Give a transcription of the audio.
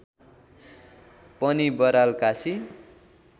पनि बराल काशी